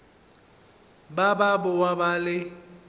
ba ba boa ba le